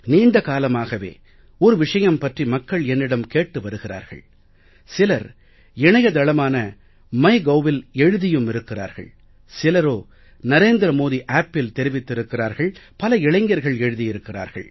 நீண்ட காலமாக ஒரு விஷயம் பற்றி மக்கள் என்னிடம் கேட்டு வருகிறார்கள் சிலர் இணையதளமான mygovஇல் எழுதியும் இருக்கிறார்கள் சிலரோ narendramodiappஇல் தெரிவித்திருக்கிறார்கள் பல இளைஞர்கள் எழுதியிருக்கிறார்கள்